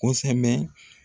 Kosɛbɛ